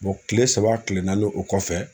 kile saba kile naani o kɔfɛ.